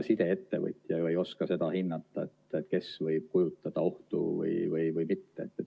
Sideettevõtja ju ei oska seda hinnata, kes võib kujutada ohtu või mitte.